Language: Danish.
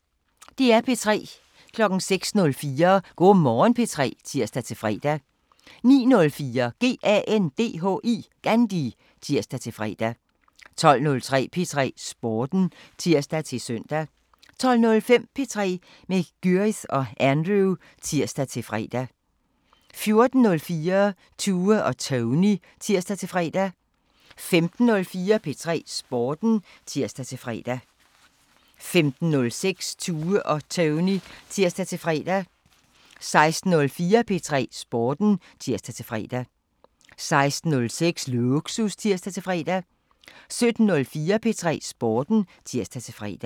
06:04: Go' Morgen P3 (tir-fre) 09:04: GANDHI (tir-fre) 12:03: P3 Sporten (tir-søn) 12:05: P3 med Gyrith og Andrew (tir-fre) 14:04: Tue og Tony (tir-fre) 15:04: P3 Sporten (tir-fre) 15:06: Tue og Tony (tir-fre) 16:04: P3 Sporten (tir-fre) 16:06: Lågsus (tir-fre) 17:04: P3 Sporten (tir-fre)